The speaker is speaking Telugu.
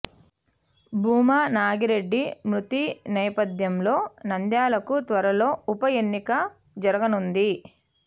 భూమా నాగిరెడ్డి మృతి నేపథ్యంలో నంద్యాలకు త్వరలో ఉప ఎన్నిక జరగనుంది